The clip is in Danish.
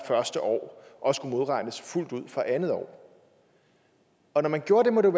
første år og modregnes fuldt ud fra det andet år når man gjorde det måtte